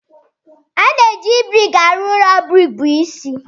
A na-eji brik arụ ụlọ brik bụ isi.